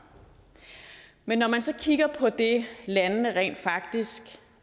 men når man så kigger på det landene rent faktisk